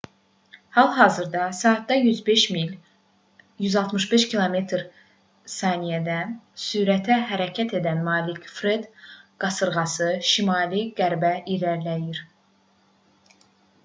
hal-hazırda saatda 105 mil 165 km/s sürətə hərəkət edən malik fred qasırğası şimali-qərbə irəliləyir